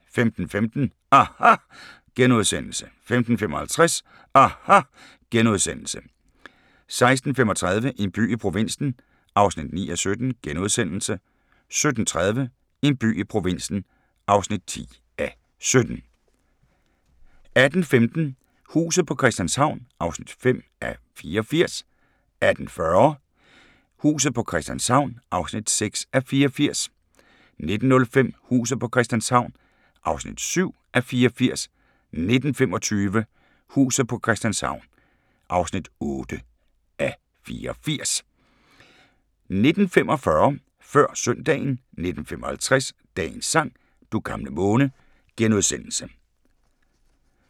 15:15: aHA! * 15:55: aHA! * 16:35: En by i provinsen (9:17)* 17:30: En by i provinsen (10:17)* 18:15: Huset på Christianshavn (5:84) 18:40: Huset på Christianshavn (6:84) 19:05: Huset på Christianshavn (7:84) 19:25: Huset på Christianshavn (8:84) 19:45: Før Søndagen 19:55: Dagens sang: Du gamle måne *